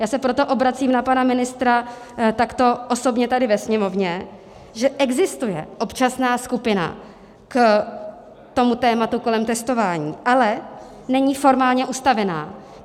Já se proto obracím na pana ministra takto osobně tady ve sněmovně, že existuje občasná skupina k tomu tématu kolem testování, ale není formálně ustavená.